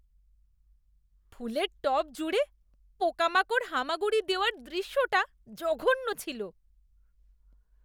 ফুলের টব জুড়ে পোকামাকড় হামাগুড়ি দেওয়ার দৃশ্যটা জঘন্য ছিল।